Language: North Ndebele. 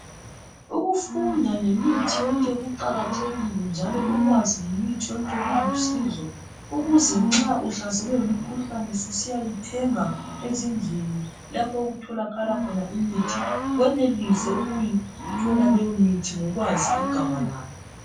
Ukufunda ngemithi yonke kuqakathekile njalo ukwazi ngemithi yonke kulusizo ukuze nxa uhlaselwe ngumkhuhlane susiyayithenga ezindlini lapho okutholakala khona imithi wenelise ukuyithola leyo mithi ngokwazi ibizo lawo.